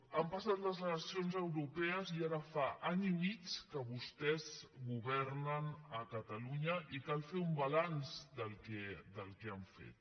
han passat les eleccions europees i ara fa any i mig que vostès governen a catalunya i cal fer un balanç del que han fet